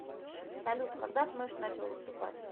салют когда смэш начал выступать